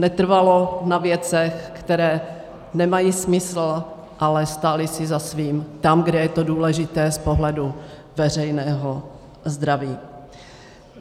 Netrvalo na věcech, které nemají smysl, ale stáli si za svým tam, kde je to důležité z pohledu veřejného zdraví.